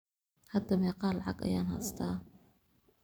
Hada meqa lacag ayan hesta.